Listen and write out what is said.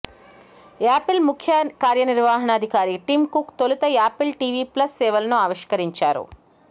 Apple ముఖ్య కార్యనిర్వహణాధికారి Tim Cook తొలుత యాపిల్ టీవీ ప్లస్ సేవలను ఆవిష్కరించారు